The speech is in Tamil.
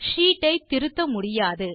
ஷீட் ஐ திருத்த முடியாது